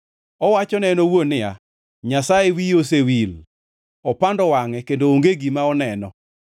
Owachone en owuon niya, “Nyasaye wiye osewil; opando wangʼe kendo onge gima oneno.”